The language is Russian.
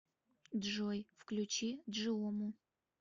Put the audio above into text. джой включи джиому